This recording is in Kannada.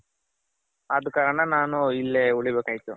ಆದ್ ಕಾರಣ ನಾನು ಇಲ್ಲೇ ಉಳಿಬೇಕಾಯ್ತು.